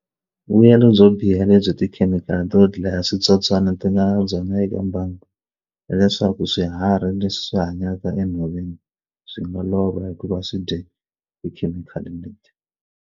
Vuyelo byo biha lebyi tikhemikhali to dlaya switsotswana ti nga na byona eka mbangi hileswaku swiharhi leswi hanyaka enhoveni byi nga lova hikuva swi dye tikhemikhali leti.